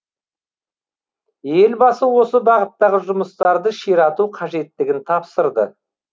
елбасы осы бағыттағы жұмыстарды ширату қажеттігін тапсырды